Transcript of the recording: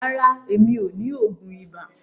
Rárá, mi ò ní oògùn ibà.